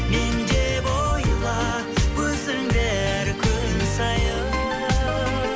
мен деп ойла өзіңді әр күн сайын